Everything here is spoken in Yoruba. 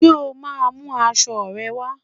Ṣé o máa mú aṣọ rẹ wá?